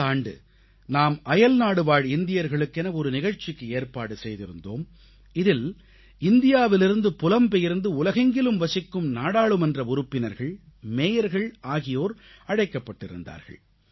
இந்த ஆண்டு நாம் அயல்நாடுவாழ் இந்தியர்களுக்கென ஒரு நிகழ்ச்சிக்கு ஏற்பாடு செய்திருந்தோம் இதில் இந்தியாவிலிருந்து புலம்பெயர்ந்து உலகெங்கிலும் வசிக்கும் நாடாளுமன்ற உறுப்பினர்கள் மேயர்கள் ஆகியோர் அழைக்கப்பட்டிருந்தார்கள்